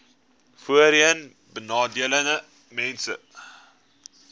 voorheenbenadeeldesmense